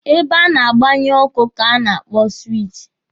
Ebe a na-agbanye ọkụ ka a na-akpọ siwichi.